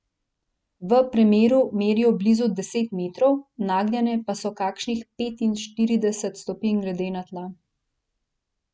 V premeru merijo blizu deset metrov, nagnjene pa so kakšnih petinštirideset stopinj glede na tla.